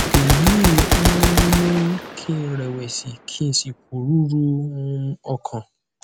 èyí um mú kí n rẹwẹsì ki n si poruru um okan